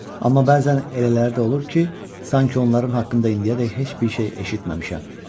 Amma bəzən elələri də olur ki, sanki onların haqqında indiyədək heç bir şey eşitməmişəm.